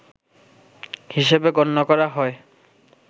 হিসেবে গণ্য করা হয়